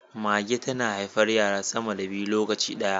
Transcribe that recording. Mage tana haifar yara sama da biyu lokaci daya